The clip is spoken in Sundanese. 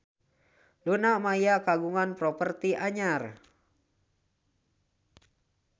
Luna Maya kagungan properti anyar